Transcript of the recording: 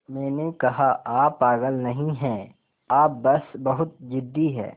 मैंने कहा आप पागल नहीं हैं आप बस बहुत ज़िद्दी हैं